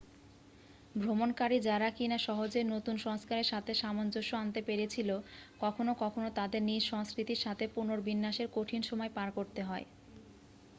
ভ্রমণকারী যারা কি না সহজেই নতুন সংস্কারের সাথে সামঞ্জ্যস্য আনতে পেরেছিল কখনো কখনো তাদের নিজ সংস্কৃতির সাথে পুনর্বিন্যাসে কঠিন সময় পার করতে হয়